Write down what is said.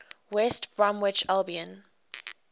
west bromwich albion